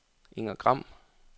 Inger Gram